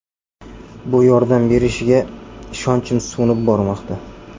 Bu yordam berishiga ishonchim so‘nib bormoqda.